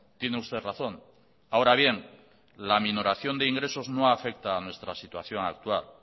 tiene usted razón ahora bien la aminoración de ingresos no afecta a nuestra situación actual